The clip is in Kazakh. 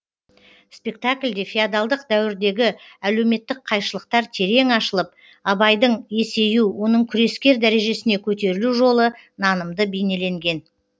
спектакльде феодалдық дәуірдегі әлеуметтік қайшылықтар терең ашылып абайдың есею оның күрескер дәрежесіне көтерілу жолы нанымды бейнеленген